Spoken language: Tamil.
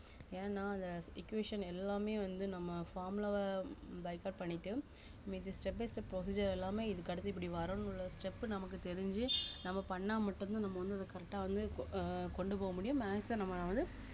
ஏன்னா அந்த equation எல்லாமே வந்து நம்ம formula வ byheart பண்ணிட்டு இது step by step procedure எல்லாமே இதுக்கடுத்து இப்படி வரனும்ல step நமக்கு தெரிஞ்சு நம்ம பண்ணா மட்டும்தான் நம்ம வந்து அத correct ஆ வந்துகொ~ அஹ் கொண்டு போக முடியும் maths அ நம்ம வந்து